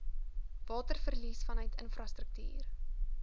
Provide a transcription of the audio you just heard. waterverlies vanuit infrastruktuur